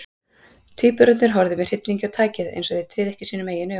Tvíburarnir horfðu með hryllingi á tækið, eins og þeir tryðu ekki sínum eigin augum.